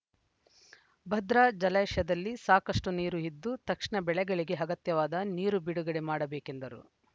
ಭದ್ರಾ ಜಲಾಶಯದಲ್ಲಿ ಸಾಕಷ್ಟುನೀರು ಇದ್ದು ತಕ್ಷಣ ಬೆಳೆಗಳಿಗೆ ಅಗತ್ಯವಾದ ನೀರು ಬಿಡುಗಡೆ ಮಾಡಬೇಕೆಂದರು